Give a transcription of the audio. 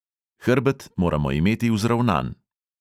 Hrbet moramo imeti vzravnan.